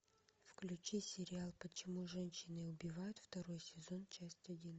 включи сериал почему женщины убивают второй сезон часть один